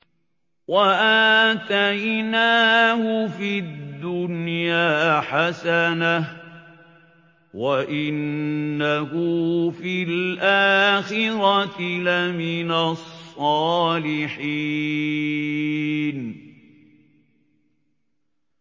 وَآتَيْنَاهُ فِي الدُّنْيَا حَسَنَةً ۖ وَإِنَّهُ فِي الْآخِرَةِ لَمِنَ الصَّالِحِينَ